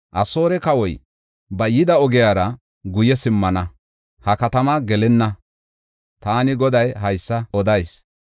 Asoore kawoy ba yida ogiyara guye simmana; ha katamaa gelenna.” Taani Goday haysa odayis.